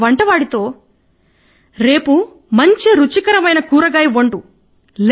తన వంటవాడితో రేపు మంచి రుచికరమైన కూరగాయ చేయండి